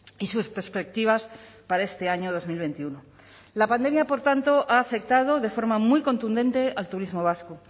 y sus perspectivas para este año dos mil veintiuno la pandemia por tanto ha afectado de forma muy contundente al turismo vasco